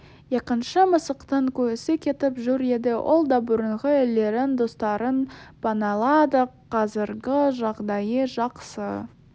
екінші мысықтың күйісі кетіп жүр еді ол да бұрынғы иелерінің достарын паналады қазіргі жағдайы жақсы